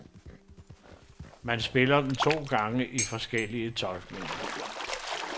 Man spiller dem to gange i forskellige tolkninger.